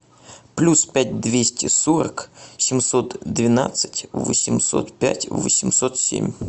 плюс пять двести сорок семьсот двенадцать восемьсот пять восемьсот семь